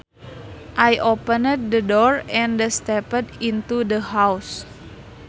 I opened the door and stepped into the house